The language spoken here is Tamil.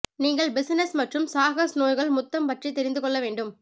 நீங்கள் பிஸினஸ் மற்றும் சாகஸ் நோய்கள் முத்தம் பற்றி தெரிந்து கொள்ள வேண்டும்